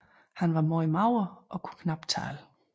Han var meget mager og kunne knapt tale